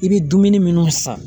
I bɛ dumuni minnu san